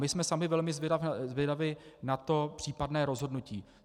My jsme sami velmi zvědavi na to případné rozhodnutí.